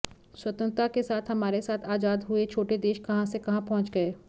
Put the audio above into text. स्वतंत्रता के साथ हमारे साथ आजाद हुए छोटे देश कहां से कहां पहुंच गए